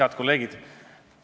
Head kolleegid!